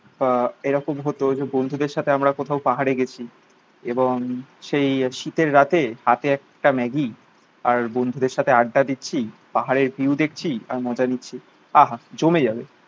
আহ এরকম হতো যে, বন্ধুদের দের সাথে আমরা কোথাও পাহাড়ে গেছি এবং সেই শীতের রাতে হাতে একটা ম্যাগি আর বন্ধুদের সাথে আড্ডা দিচ্ছি, পাহাড়ের ভিউ দেখছি, আর মজা নিচ্ছি, আহা জমে যাবে।